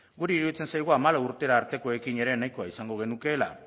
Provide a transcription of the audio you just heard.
guri iruditzen zaigu hamasei urtera artekoekin ere nahikoa izango genukeela